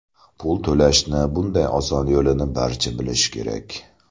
Pul to‘lashni bunday oson yo‘lini barcha bilishi kerak!